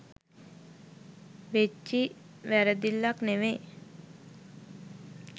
වෙච්චි වැරදිල්ලක් නෙමේ.